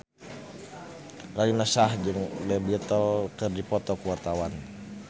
Raline Shah jeung The Beatles keur dipoto ku wartawan